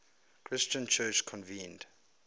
christian church convened